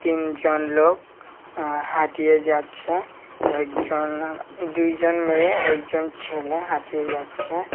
তিনজন লোক হাঁটিয়ে যাচ্ছে একজন দুইজন মেয়ে একজন ছেলে হাঁটিয়ে যাচ্ছে।